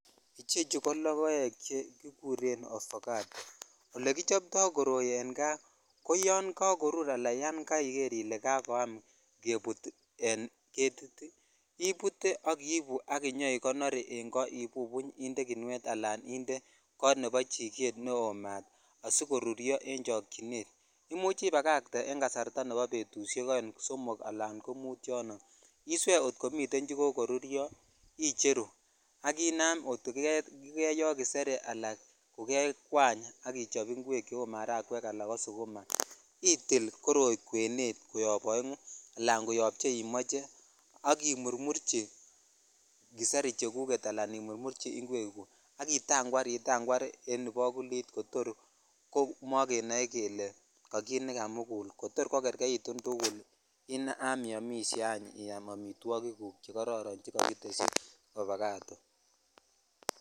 Ichechu ko lokoek che kikuren olekichop toi koroi en kaa ko yon kakorur ala yan koiger ile kokwam kebut en getit ibute akak ibu ak inyoikonoren koo ibubuny en kinuet ala kot nebo chiget neo maat sikoruryo en chokchinet imuch ibagatee en kasarta betushek oeng ,somok ala ko mut yono iswee kot komi chekoruryo icheru ak inam kot ko kikeyo kiserii al kujekwany ak ichop ingwek cheu marangwekala ko sukuma itil koroi kwenet koyob oengu ala koyob cheimocheak imurmurchi kiseri cheguget alaimurmurchi ingwek gungak itakwar itakwar en ibakulittor komokenoe kele kakit ne kamugul kotor kokerket tugulinam iyomishe anyiyam amitwokik kuk che kororo chekokiteshi obakato.